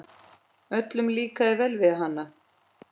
Öllum líkaði vel við hana.